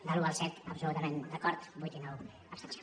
de l’un al set absolutament d’acord vuit i nou abstenció